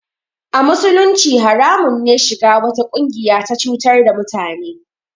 A musulunci haramun ne shiga wata ƙungiya ta cutar da mutane